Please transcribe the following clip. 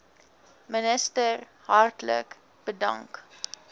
minister hartlik bedank